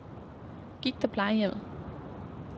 Gigt- og Plejehjemmet